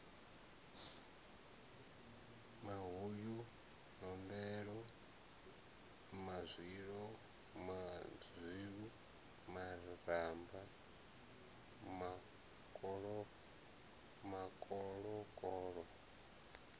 mahuyu nombelo mazwilu maramba makoloko